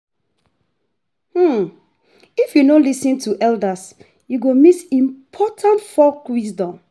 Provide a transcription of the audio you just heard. If you no lis ten to the elders, you go miss important folk wisdom.